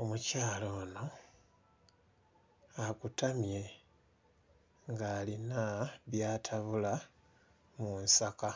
Omukyala ono akutamye ng'alina by'atabula mu nsaka.